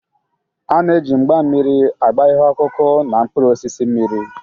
A na-eji mgba mmiri agba ihe ọkụkụ na mkpụrụ osisi mmiri.